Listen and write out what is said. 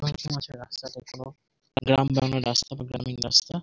রাস্তা গ্রাম বাংলার রাস্তা খুব গ্রামীণ রাস্তা ।